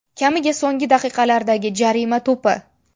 Kamiga so‘nggi daqiqalardagi jarima to‘pi.